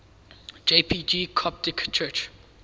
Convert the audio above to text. jpg coptic church